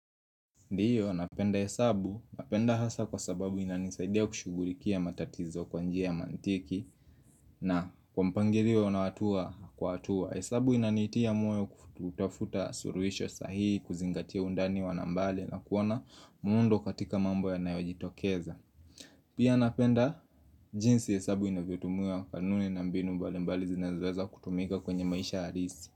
Ndio, napenda hesabu, napenda hasa kwa sababu inanisaidia kushugulikia matatizo kwa njia ya mantiki na kwa mpangilio na hatua kwa hatua hesabu inanitia moyo kutafuta suluhisho sahihi, kuzingatia undani wa nambale na kuona muundo katika mambo yanayojitokeza Pia napenda, jinsi hesabu inavyotumiwa kanuni na mbinu mbali mbali zinazoweza kutumika kwenye maisha halisi.